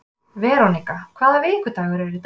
Verónika, hvaða vikudagur er í dag?